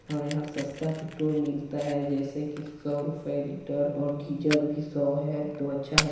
और यहाँ सस्ता पेट्रोल मिलता हैं जैसे कि सौ रुपए लीटर और गिजल भी सौ हैं तो अच्छा हैं।